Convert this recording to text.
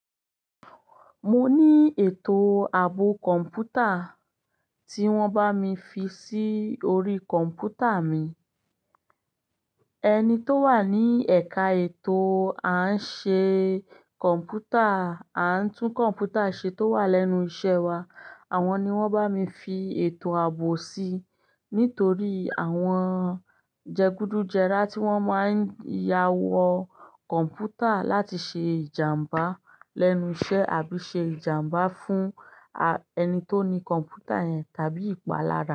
Mo ní ètò ààbò kọ̀ǹpútà tí wọ́n bá mi fi sí orí kọ̀ǹpútà mi. Ẹni tó wà ní ẹ̀ka ètò à ń ṣe kọ̀ǹpútà, à ń tún kọ̀ǹpútà ṣe tó wà lẹ́nu iṣẹ́ wa. Àwọn ni wọ́n bá mi fi ètò ààbò sí nítorí àwọn jẹgúdújẹrá tí wọ́n máa ń yáwọ kọ̀ǹpútà láti ṣe ìjàmbá lẹ́nu iṣẹ́ àbí ṣe ìjàmbá fún ẹni tó ni kọ̀ǹpútà yẹn tàbí ìpalára.